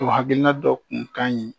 O hakiina dɔ kun kaɲi